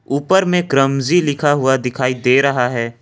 ऊपर में क्रमजी लिखा हुआ दिखाई दे रहा है।